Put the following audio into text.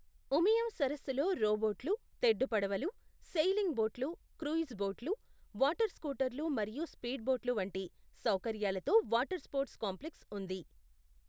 ఉమియం సరస్సులో రో బోట్లు, తెడ్డు పడవలు, సెయిలింగ్ బోట్లు, క్రూయిజ్ బోట్లు, వాటర్ స్కూటర్లు మరియు స్పీడ్ బోట్లు వంటి సౌకర్యాలతో వాటర్ స్పోర్ట్స్ కాంప్లెక్స్ ఉంది.